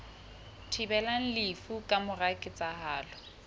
thibelang lefu ka mora ketsahalo